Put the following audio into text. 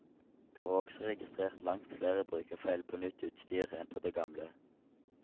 Det var også registrert langt flere brukerfeil på nytt utstyr enn på det gamle.